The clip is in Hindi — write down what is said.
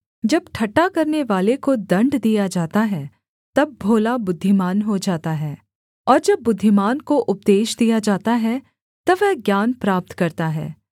जब ठट्ठा करनेवाले को दण्ड दिया जाता है तब भोला बुद्धिमान हो जाता है और जब बुद्धिमान को उपदेश दिया जाता है तब वह ज्ञान प्राप्त करता है